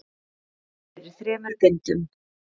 Ritið er í þremur bindum.